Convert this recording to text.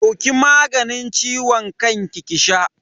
Dauki maganin ciwon kan ki sha.